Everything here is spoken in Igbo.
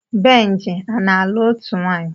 Benji ana-alụ ótù nwaanyi?